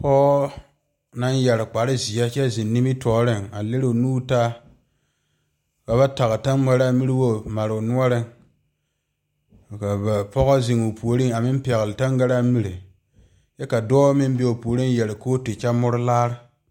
Pɔge naŋ yeere kpare ziɛ kyɛ zeŋ nimitɔɔre leri o nuure taa ka ba tage tamara nuwogi pare o noɔre ka pɔge zeŋ o puori a meŋ pegle tangaare mire kyɛ ka dɔɔ meŋ be o puori yeere kootu kyɛ moɔre laare.